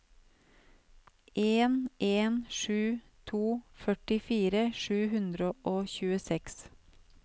en en sju to førtifire sju hundre og tjueseks